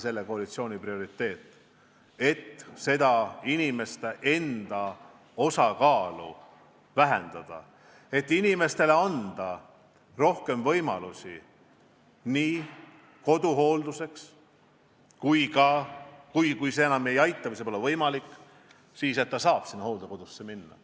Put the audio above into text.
Selle koalitsiooni prioriteet on kindlasti inimeste omaosalust vähendada, et anda rohkem võimalusi koduhoolduseks ja kui see enam ei aita või see pole võimalik, siis saab abivajaja hooldekodusse saata.